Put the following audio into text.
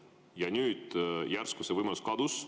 Ja nüüd järsku see võimalus kadus.